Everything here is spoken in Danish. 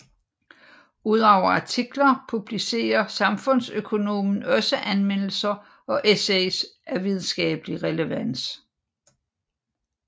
Udover artikler publicerer Samfundsøkonomen også anmeldelser og essays af videnskabelig relevans